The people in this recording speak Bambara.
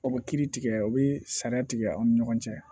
O bɛ kiiri tigɛ o bɛ sariya tigɛ aw ni ɲɔgɔn cɛ